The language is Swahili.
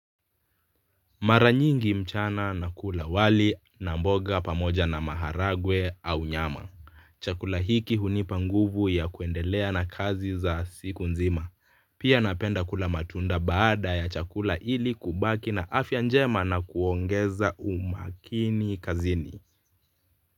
Maranyingi mchana nakula wali na mboga pamoja na maharagwe au nyama. Chakula hiki hunipa nguvu ya kuendelea na kazi za siku nzima. Pia napenda kula matunda baada ya chakula ili kubaki na afya njema na kuongeza umakini kazini.